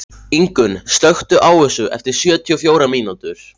Ingunn, slökktu á þessu eftir sjötíu og fjórar mínútur.